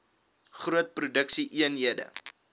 groot produksie eenhede